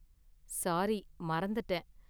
Sorry, மறந்துட்டேன்.